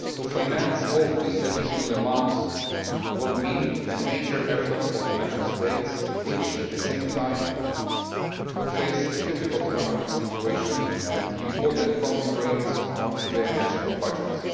Financing all these additional amounts will mean a major effort for the Member States, which at the same time face a difficult economic situation and important constraints on their national budgets.